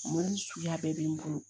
Mulu suguya bɛɛ bɛ n bolo